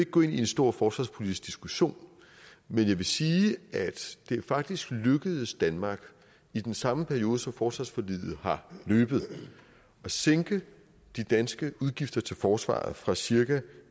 gå ind i en stor forsvarspolitisk diskussion men jeg vil sige at det faktisk er lykkedes danmark i den samme periode som forsvarsforliget har løbet at sænke de danske udgifter til forsvaret fra cirka